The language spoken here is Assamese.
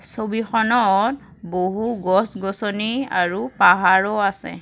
ছবিখনত বহু গছ-গছনি আৰু পাহাৰো আছে।